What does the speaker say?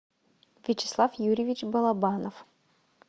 вячеслав юрьевич балабанов